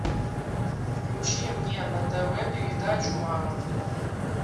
включи мне на тв передачу мама